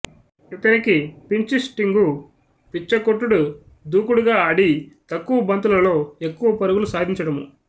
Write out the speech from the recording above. ఇతనికి పించ్హిట్టింగు పిచ్చకొట్టుడు దూకుడుగా ఆది తక్కువ బంతులలో ఎక్కువ పరుగులు సాధించడము